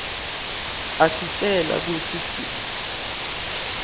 asitjela kwekutsi sibolwa